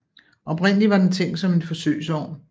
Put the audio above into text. Oprindelig var den tænkt som en forsøgsovn